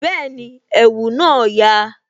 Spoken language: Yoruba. Bẹẹni, ẹ̀wù na ya